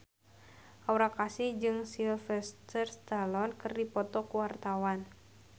Aura Kasih jeung Sylvester Stallone keur dipoto ku wartawan